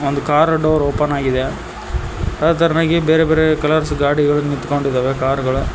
ಒಂದು car door open ಆಗಿದೆ ಅದೇ ತರನಾಗಿ ಬೇರೆ ಬೇರೆ ಕಲರ್ಸ್ ಗಾಡಿಗಳು ನಿಂತ್ಕೊಂಡಿದ್ದಾವೆ ಕಾರ್ ಗಳು--